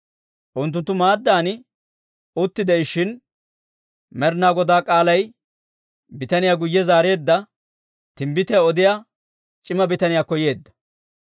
Unttunttu maaddan utti de'ishshin, Med'inaa Godaa k'aalay bitaniyaa guyye zaareedda timbbitiyaa odiyaa c'ima bitaniyaakko yeedda.